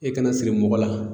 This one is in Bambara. E kana siri mɔgɔ la